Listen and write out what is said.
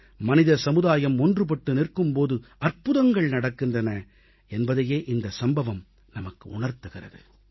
மனித சமுதாயம் ஒன்றுபட்டு நிற்கும் போது அற்புதங்கள் நடக்கின்றன என்பதையே இந்தச் சம்பவம் நமக்கு உணர்த்துகிறது